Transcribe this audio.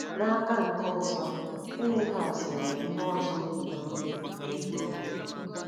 N'aka nke ọzọ, Finihas nwere ihe ọzọ o bu n'obi mee ihe o mere.